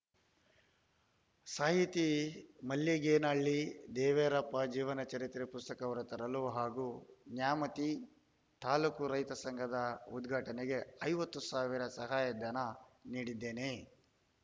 ಸಾಹಿತಿ ಮಲ್ಲಿಗೇನಹಳ್ಳಿ ದೇವೀರಪ್ಪ ಜೀವನ ಚರಿತ್ರೆ ಪುಸ್ತಕ ಹೊರತರಲು ಹಾಗೂ ನ್ಯಾಮತಿ ತಾಲೂಕು ರೈತ ಸಂಘದ ಉದ್ಘಾಟನೆಗೆ ಐವತ್ತು ಸಾವಿರದ ಸಹಾಯಧನ ನೀಡಿದ್ದೇನೆ